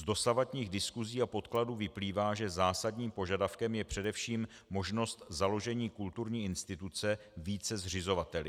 Z dosavadních diskusí a podkladů vyplývá, že zásadním požadavkem je především možnost založení kulturní instituce více zřizovateli.